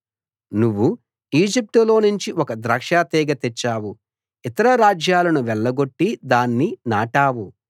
నువ్వు ఈజిప్టులోనుంచి ఒక ద్రాక్షాతీగె తెచ్చావు ఇతర రాజ్యాలను వెళ్లగొట్టి దాన్ని నాటావు